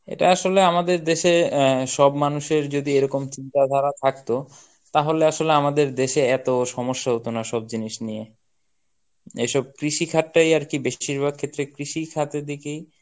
এটা আসলে আমাদের দেশে আহ সব মানুষের যদি এরকম চিন্তাধারা থাকতো তাহলে আসলে আমাদের দেশে এত সমস্যা হতো না সব জিনিস নিয়ে. এসব কৃষিখাত টাই আরকি বেশিরভাগ ক্ষেত্রে কৃষিখাতের দিকেই